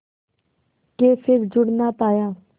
के फिर जुड़ ना पाया